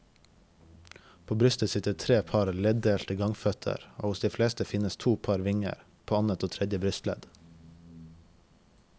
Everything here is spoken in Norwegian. På brystet sitter tre par leddelte gangføtter og hos de fleste finnes to par vinger, på annet og tredje brystledd.